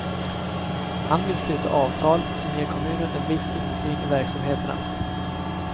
Han vill sluta avtal, som ger kommunen en viss insyn i verksamheterna.